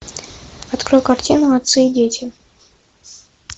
открой картину отцы и дети